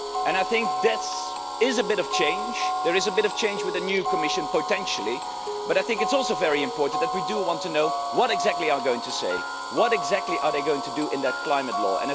I think that there is a bit of change with the new Commission potentially, but I think it's also very important that we do want to know what exactly they are going to say, what exactly are they going to do in that climate law?